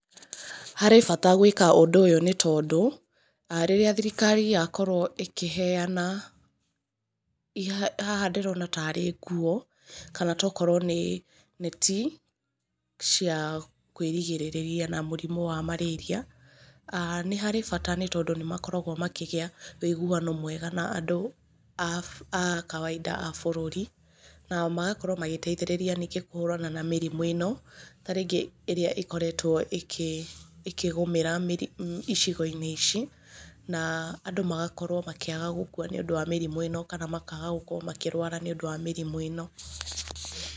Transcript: Harĩ bata gwĩka ũndũ ũyũ nĩ tondũ, rĩrĩa thirikari ya ĩkĩheana, haha ndĩrona ta arĩ nguo kana tokorwo nĩ, neti, cia kwĩgĩrĩrĩria na mũrimũ wa Marĩria[aah]nĩ harĩ baata tondũ nĩ makoragwo makĩgĩa wĩiguano mwega na andũ a kawainda a bũrũri na magokorwo magĩteithĩrĩria ningĩ kũhũrana na mĩrimũ ĩno ta rĩngĩ ĩrĩa ĩkoretwo ĩkĩgũmĩra, icigo-inĩ ici na andũ magakorwo makĩaga gũkua nĩ ũndũ wa mĩrimũ ĩno kana makaga gũkorwo makĩrwara nĩ ũndũ wa mĩrĩmũ ĩno.